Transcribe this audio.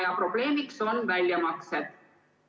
Ja probleemiks on väljamaksed.